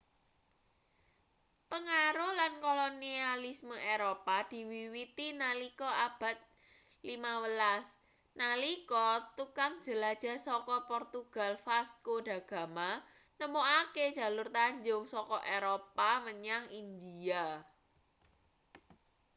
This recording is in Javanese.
pengaruh lan kolonialisme eropa diwiwiti nalika abad 15 nalika tukang jelajah saka portugal vasco da gama nemokake jalur tanjung saka eropa menyang india